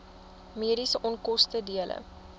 mediese onkoste dele